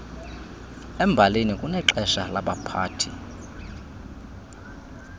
embalini kunexesha labaphathi